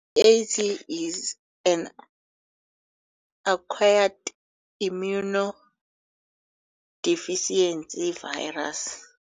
I-AIDS yi-Acquired Immunodeficiency Virus.